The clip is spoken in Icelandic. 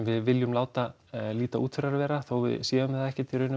við viljum láta líta út fyrir að vera þó að við séum það ekkert í raun